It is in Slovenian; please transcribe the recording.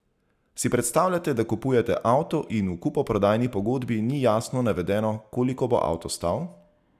Si predstavljate, da kupujete avto in v kupoprodajni pogodbi ni jasno navedeno, koliko bo avto stal?